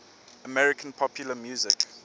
american popular music